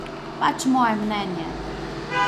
Pač moje mnenje.